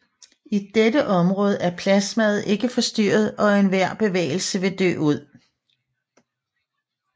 I dette område er plasmaet ikke forstyrret og enhver bevægelse vil dø ud